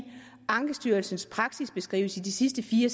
ankestyrelsens praksisbeskrivelse i de sidste fire